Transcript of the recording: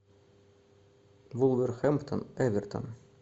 вулверхэмптон эвертон